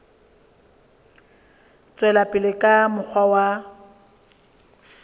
tswela pele ka mokgwa wa